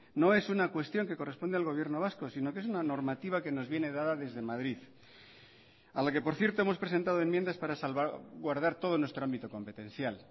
no es una cuestión que corresponde al gobierno vasco sino que es una normativa que nos viene dada desde madrid a la que por cierto hemos presentado enmiendas para salvaguardar todo nuestro ámbito competencial